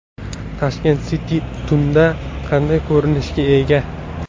Tashkent City tunda qanday ko‘rinishga ega?.